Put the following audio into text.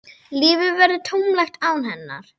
Lífið verður tómlegt án hennar.